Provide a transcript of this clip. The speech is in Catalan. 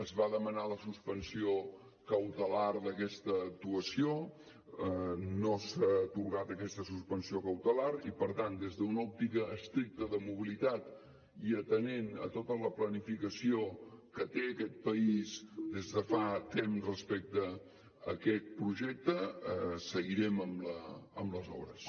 es va demanar la suspensió cautelar d’aquesta actuació no s’ha atorgat aquesta suspensió cautelar i per tant des d’una òptica estricta de mobilitat i atenent a tota la planificació que té aquest país des de fa temps respecte a aquest projecte seguirem amb les obres